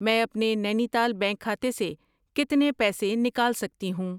میں اپنے Nainital bank کھاتے سے کتنے پیسے نکال سکتی ہوں؟